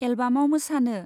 एलबामाव मोसानो ?